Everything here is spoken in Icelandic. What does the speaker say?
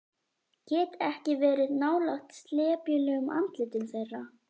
Get ekki verið nálægt slepjulegum andlitum þeirra.